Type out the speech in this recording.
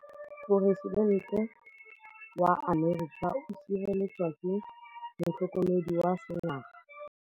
Poresitêntê wa Amerika o sireletswa ke motlhokomedi wa sengaga.